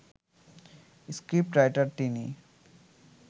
script writer তিনি